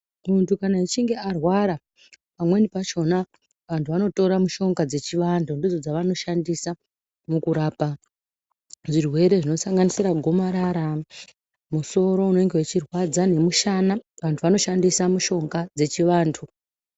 Muntu kana achinge arwara, pamweni pakhona, vantu vanotora mishonga dzechivantu. Ndidzo dzavanoshandisa mukurapa zvirwere zvinosanganisira gomarara, musoro unenge uchirwadza nemushana. Vantu vanoshandisa mushonga dzechivantu.